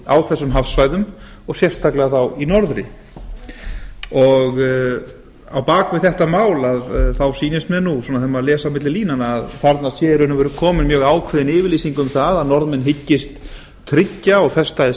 á þessum hafsvæðum og sérstaklega þá í norðri á bak við þetta mál sýnist mér nú þegar maður les á milli línanna að þarna sé í raun og veru komin mjög ákveðin yfirlýsing um það að norðmenn hyggist tryggja og festa